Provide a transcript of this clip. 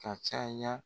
Ka caya